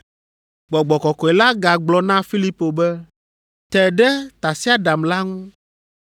Gbɔgbɔ Kɔkɔe la gagblɔ na Filipo be, “Te ɖe tasiaɖam la ŋu.”